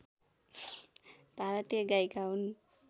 भारतीय गायिका हुन्